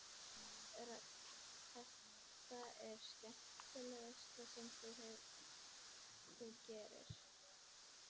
Hödd: Er þetta það skemmtilegasta sem þú gerir?